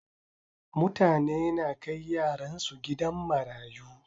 Mutane na kai yaran su gidan marayu.